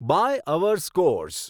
by our scores